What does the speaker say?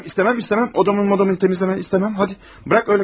Ay istəmirəm istəmirəm istəmirəm, otağımı təmizləməyi istəmirəm, gəl elə qalsın.